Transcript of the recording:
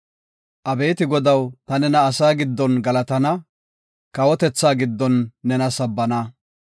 Abeeti Godaw, ta nena asaa giddon galatana; kawotethaa giddon nena sabbana.